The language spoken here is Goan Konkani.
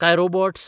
काय रोबोट्स?